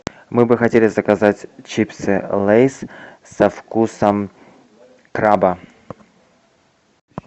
мы бы хотели заказать чипсы лейс со вкусом краба